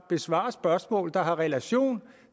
besvares spørgsmål der har relation